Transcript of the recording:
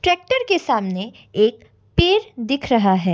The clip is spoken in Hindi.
ट्रैक्टर के सामने एक पेड़ दिख रहा है।